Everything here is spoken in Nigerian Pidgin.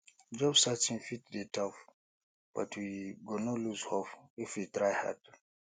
job searching fit dey tough but we go no lose hope if we try hard